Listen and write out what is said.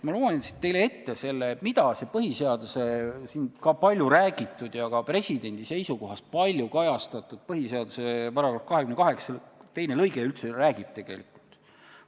Ma loen teile siit ette, mida see palju räägitud ja ka presidendi seisukohas palju kajastatud põhiseaduse § 28 lõige 2 üldse tegelikult ütleb.